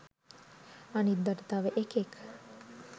අනිද්දට තව එකෙක්